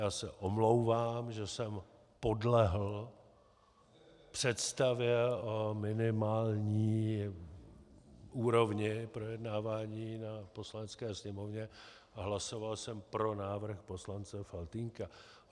Já se omlouvám, že jsem podlehl představě o minimální úrovni projednávání na Poslanecké sněmovně a hlasoval jsem pro návrh poslance Faltýnka.